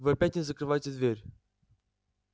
вы опять не закрываете дверь